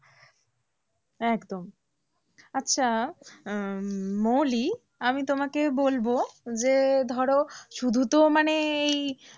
একদম আচ্ছা উম মৌলি আমি তোমাকে বলবো যে ধরো শুধুতো মানে এই,